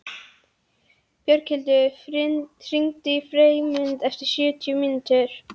Björghildur, hringdu í Freymund eftir sjötíu mínútur.